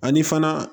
Ani fana